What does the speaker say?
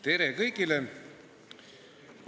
Tere kõigile!